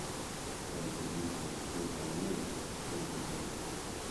как добиться успеха в америке шестой сезон